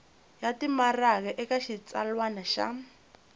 ya timaraka eka xitsalwana xa